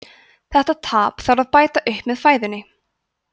þetta tap þarf að bæta upp með fæðunni